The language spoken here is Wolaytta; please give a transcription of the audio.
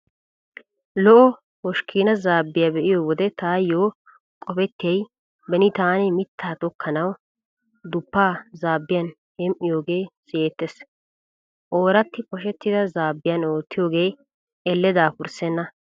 Lo'o hoshkkiina zaabbiya be'iyo wode taayyo qopettiyay beni taani mittaa tokkanawu duppaa zaabbiyan hem"oogee siyettees. Ooratti poshettida zaabbiyan oottiyoogee Elle daafurssenna.